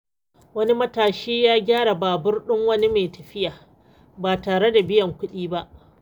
Wani matashi ya gyara babur ɗin wani mai tafiya ba tare da biyan kuɗi ba.